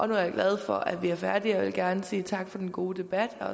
nu er jeg glad for at vi er færdige og jeg vil gerne sige tak for en god debat jeg